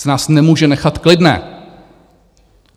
Přece nás nemůže nechat klidné.